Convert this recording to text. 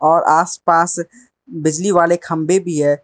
और आसपास बिजली वाले खंबे भी है।